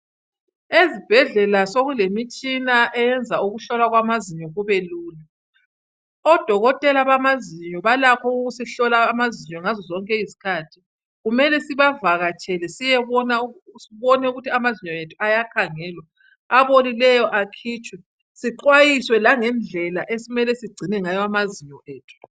ezibhedlela sokulemitshina eyenza ukuhlolwa kwamazinyo kube lulu odokotela bamazinyo balakho ukusihlola amazinyo ngazo zonke izikhathi kumele sibavakatshele siyebona ukuthi amazinyo ethu ayakhangelwa abolileyo akhitshwe sixwayiswe langendlela okumele sigcine ngayo amazinyo